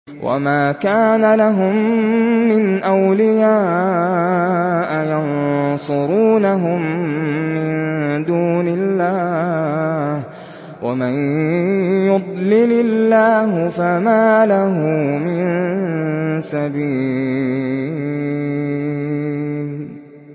وَمَا كَانَ لَهُم مِّنْ أَوْلِيَاءَ يَنصُرُونَهُم مِّن دُونِ اللَّهِ ۗ وَمَن يُضْلِلِ اللَّهُ فَمَا لَهُ مِن سَبِيلٍ